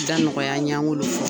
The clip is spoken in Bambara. Da nɔgɔya an ye ani kololi fɔ.